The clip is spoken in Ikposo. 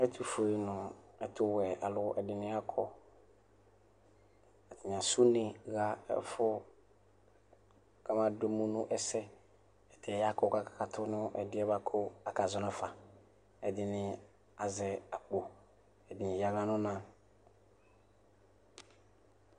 Ɛtufue alʋ nʋ ɛtʋwɛ alʋ ɛdini akɔ atani asɛ une ɣa ɛfʋ kʋ amadʋ emʋ nʋ ɛsɛ atani akɔ kʋ akakatʋnʋ ɛdiɛ bʋakʋ akazɔ nafa ɛdini azɛ akpo ɛdini ya aɣla nʋ ɔna